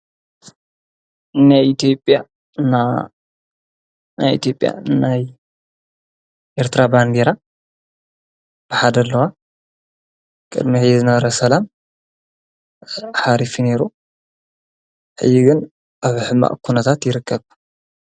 ናናይ ቲብያ ናይ ኤርትራ ባንዲራ ብሓደ ለዋ ቅድሚሕ ዝነረ ሰላም ሓሪፊ ነይሩ ሕይግን ኣብ ሕማ ኩነታት ይርከብ።